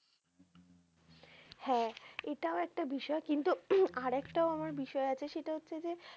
হ্যা এটাও একটা বিষয় কিন্তু আর একটাও আমার বিষয় আছে সেটা হচ্ছে যে,